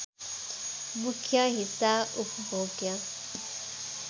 मुख्य हिस्सा उपभोग्य